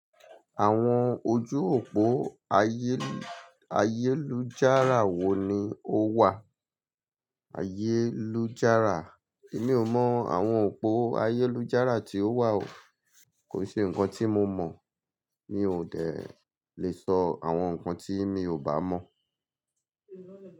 Àwọn ojú òpó ayélujára wo ni ó wà? Ayélujára, emi ò mọ̀ àwọn òpó ayélujára tí ó wà o. Kò se nǹkan tí mo mọ̀, mi ò de lè sọ àwọn nǹkan tí mi ò bá mọ̀